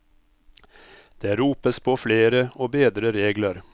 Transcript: Det ropes på flere og bedre regler.